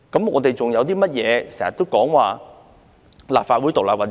我們還說甚麼立法會獨立運作？